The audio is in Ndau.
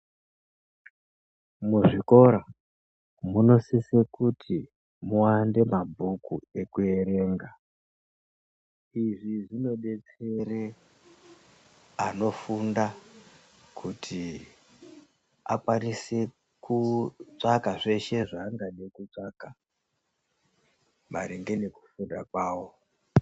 Muzvikora munosise kuti muwande mabhuku ekuwerenga. Izvi zvinodetsere anofunda kuti akwanise kutsvaga zveshe zvaangade kutsvaga maringe ngekufunda kwawo.